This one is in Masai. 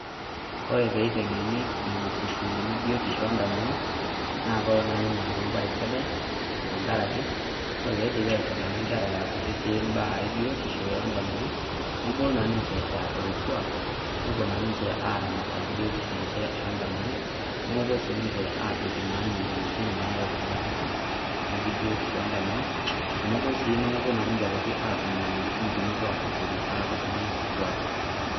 Kore peiteng'eni nena sukuulini biotisho ondamunot, na kolo na ninye aaku ebae sidai, tankaraki, ore peidipi aiteng'ena nkera ara kutitik imbaa ebiotisho ondamunot, nabulu naa ninche eeta lo kuak, nopuo na ninche aramat biotisho enche ondamunot, nomopuo na sininche adoki naa moyiaritin nayau inatoki, naji biotisho ondamunot, tenebo si nomopuo na ninche aitoki atum inyamalitin tonopuo abotoru aaku iltung'anak kituak.